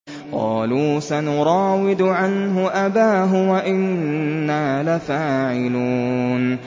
قَالُوا سَنُرَاوِدُ عَنْهُ أَبَاهُ وَإِنَّا لَفَاعِلُونَ